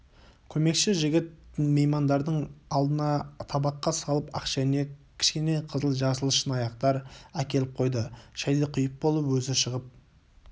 көмекші жігіт меймандардың алдына табаққа салып ақ шәйнек кішкене қызыл-жасыл шыныаяқтар әкеліп қойды шайды құйып болып өзі шығып